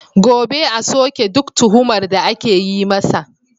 Gobe, a soke duk tuhumar da ake yi masa.